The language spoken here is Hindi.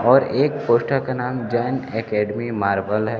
और एक पोस्टर का नाम जैन अकैडमी मार्बल है।